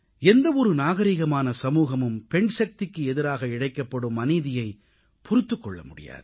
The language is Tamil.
எந்த ஒரு நாகரீகமான சமூகமும் பெண்சக்திக்கு எதிராக இழைக்கப்படும் அநீதியைப் பொறுத்துக் கொள்ள முடியாது